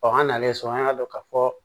an nalen so an y'a dɔn ka fɔ